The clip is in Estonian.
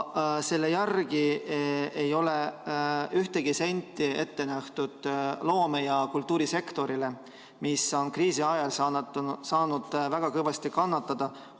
Selle järgi ei ole ühtegi senti ette nähtud loome‑ ja kultuurisektorile, mis on kriisi ajal väga kõvasti kannatada saanud.